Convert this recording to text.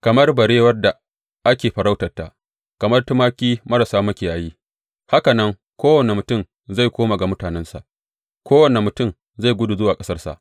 Kamar barewar da ake farautarta kamar tumaki marasa makiyayi, haka nan kowane mutum zai koma ga mutanensa, kowane mutum zai gudu zuwa ƙasarsa.